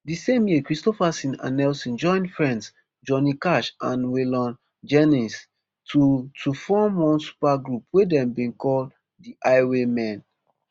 di same year kristofferson and nelson join friends johnny cash and waylon jennings to to form one supergroup wey dem bin call the highwaymen